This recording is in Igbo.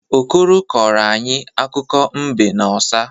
Okoro kọrọ anyị akụkọ mbe na ọsa.